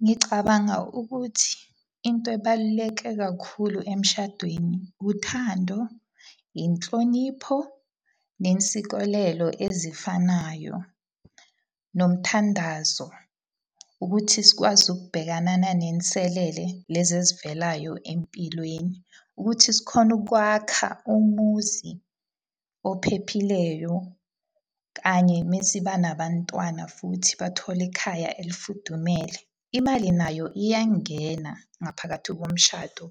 Ngicabanga ukuthi, into ebaluleke kakhulu emshadweni, uthando, inhlonipho, nensikelelo ezifanayo. Nomthandazo ukuthi sikwazi ukubhekana nezinselele lezi ezivelayo empilweni. Ukuthi sikhone ukwakha umuzi ophephileyo. Kanye uma siba nabantwana futhi bathole ikhaya elifudumele. Imali nayo iyangena ngaphakathi komshado